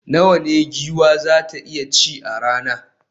Nawa ne giwa za ta iya ci a rana?